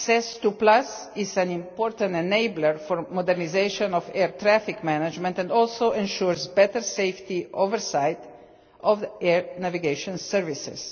SES2 is an important enabler for modernisation of air traffic management and also ensures better safety oversight of air navigation services.